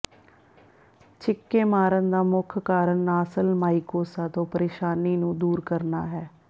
ਛਿੱਕੇ ਮਾਰਨ ਦਾ ਮੁੱਖ ਕਾਰਨ ਨਾਸਲ ਮਾਈਕੋਸਾ ਤੋਂ ਪਰੇਸ਼ਾਨੀ ਨੂੰ ਦੂਰ ਕਰਨਾ ਹੈ